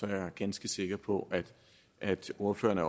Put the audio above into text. jeg ganske sikker på at ordførerne